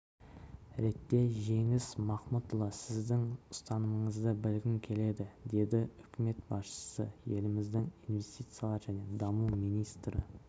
ретте жеңіс махмұтұлы сіздің ұстанымыңызды білгім келеді деді үкімет басшысы еліміздің инвестициялар және даму министрі